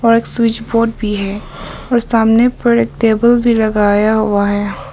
और एक switch board भी है और सामने पर एक टेबल भी लगाया हुआ है।